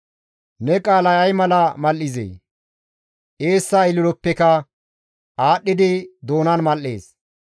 Ne qaalay ay mala mal7izee! Eessa ililoppeka aadhdhidi doonan mal7ees.